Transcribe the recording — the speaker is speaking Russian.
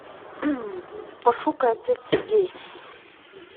пошукай отец сергей